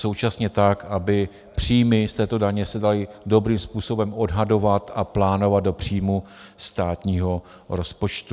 Současně tak, aby příjmy z této daně se daly dobrým způsobem odhadovat a plánovat do příjmů státního rozpočtu.